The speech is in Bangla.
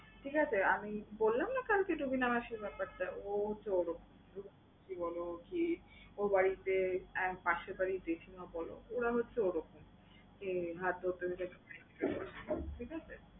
ঠিক আছে? আমি বললাম না কালকে যে রিনা মাসির ব্যাপারটা? ও হচ্ছে এরকম। ওর বাড়িতে পাশের বাড়ির জেঠিমা বল ওরা হচ্ছে ওরকম। কে হাত ধরতে দিলে ঠিকাছে?